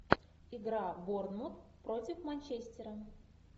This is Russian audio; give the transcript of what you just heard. игра борнмут против манчестера